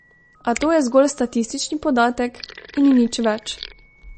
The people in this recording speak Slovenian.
A to je zgolj statistični podatek in nič več.